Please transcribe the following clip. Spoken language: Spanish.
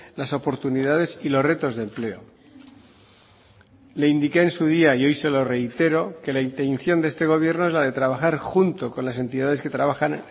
las oportunidades y los retos de empleo le indique en su día y hoy se lo reitero que la intención de este gobierno es la de trabajar junto con las entidades que trabajan